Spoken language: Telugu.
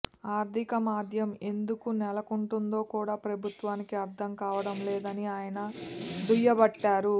ఆర్థిక మాంద్యం ఎందుకు నెలకుంటుందోకూడా ప్రభుత్వానికి అర్థం కావటం లేదని ఆయన దుయ్యబట్టారు